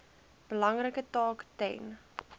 belangrike taak ten